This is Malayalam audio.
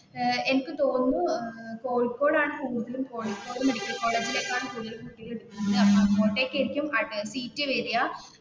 ഏർ എനിക്ക് തോന്നുന്നു